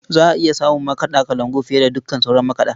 Za a iya samun makaɗa kalangu fiye da dukkan sauran makaɗa.